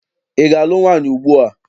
Ị ga- alụ nwaanyị ugbua?